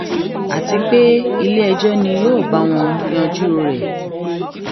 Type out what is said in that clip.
àti pé iléẹjọ ni yóò báwọn yanjú rẹ